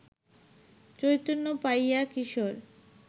চৈতন্য পাইয়া কিশোর